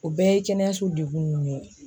O bɛɛ ye kɛnɛyaso degun ye